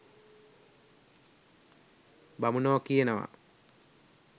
බමුණො කියනව